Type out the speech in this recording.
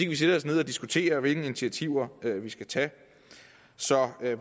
vi sætter os ned og diskuterer hvilke initiativer vi skal tage så